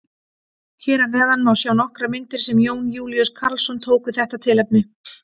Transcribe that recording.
Hér að neðan má sjá nokkrar myndir sem Jón Júlíus Karlsson tók við þetta tilefni.